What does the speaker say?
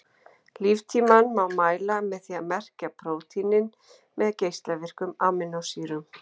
Líftímann má mæla með því að merkja prótínin með geislavirkum amínósýrum.